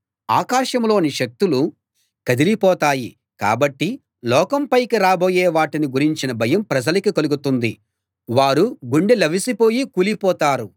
ఆకాశంలోని శక్తులు కదిలిపోతాయి కాబట్టి లోకం పైకి రాబోయే వాటిని గురించిన భయం ప్రజలకి కలుగుతుంది వారు గుండెలవిసి పోయి కూలిపోతారు